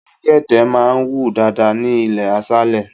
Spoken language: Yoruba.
Elégède máa ń wù dáadáa ní ilé aṣálé.